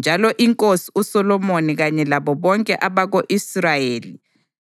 njalo iNkosi uSolomoni kanye labo bonke abako-Israyeli